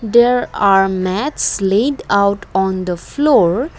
there are mats late out on the floor.